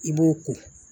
I b'o ko